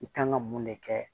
I kan ka mun de kɛ